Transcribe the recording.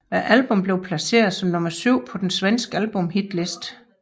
Albummet blev placeret som nummer syv på den svenske albumshitliste